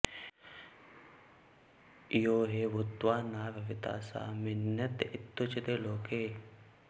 यो हि भूत्वा न भविता स म्रियत इत्युच्यते लोके